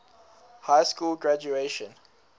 high school graduation